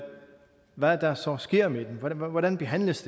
hvad der så sker med den hvordan behandles